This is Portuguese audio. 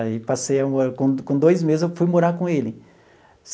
Aí passei a morar, com com dois meses eu fui morar com ele.